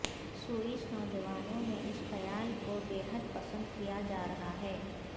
Swiss نوجوانوں میں اس خیال کو بےحد پسند کیا جا رہا ہے